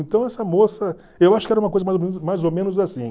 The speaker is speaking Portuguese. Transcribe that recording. Então essa moça, eu acho que era uma coisa mais ou menos mais ou menos assim.